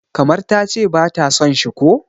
kamar ta ce ba ta son shi ko?